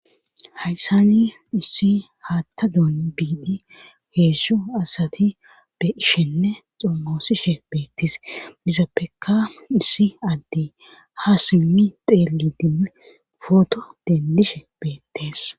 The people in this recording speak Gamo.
hayssani issi haatta doon biidi heesso asati be ishenne xommoosishe beettes mizappeka issi adde ha simmi xeeli dimmi footo dendishe beettees